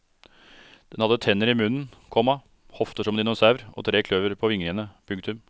Den hadde tenner i munnen, komma hofter som en dinosaur og tre klør på vingene. punktum